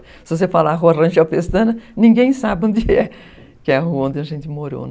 Se você falar Rua Rangel Pestana, ninguém sabe onde é. Que é a rua onde a gente morou, né?